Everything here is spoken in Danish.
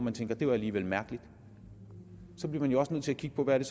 at tænke at det var alligevel mærkeligt så bliver man jo også nødt til at kigge på hvad